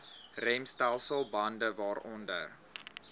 remstelsel bande waaronder